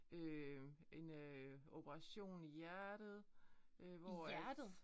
Øh en øh operation i hjertet øh hvor at